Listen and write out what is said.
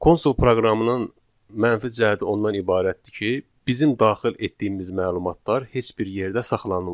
Konsol proqramının mənfi cəhəti ondan ibarətdir ki, bizim daxil etdiyimiz məlumatlar heç bir yerdə saxlanılmır.